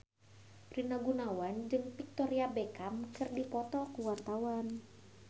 Rina Gunawan jeung Victoria Beckham keur dipoto ku wartawan